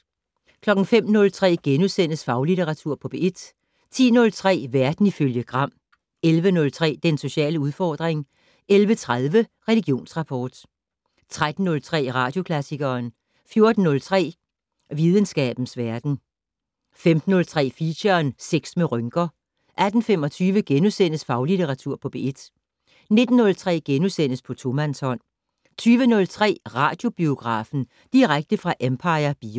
05:03: Faglitteratur på P1 * 10:03: Verden ifølge Gram 11:03: Den sociale udfordring 11:30: Religionsrapport 13:03: Radioklassikeren 14:03: Videnskabens verden 15:03: Feature: Sex med rynker 18:25: Faglitteratur på P1 * 19:03: På tomandshånd * 20:03: Radiobiografen - direkte fra Empire Bio